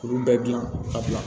Kuru bɛɛ dilan ka bila